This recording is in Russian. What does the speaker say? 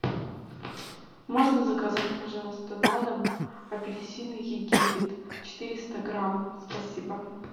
можно заказать пожалуйста на дом апельсины египет четыреста грамм спасибо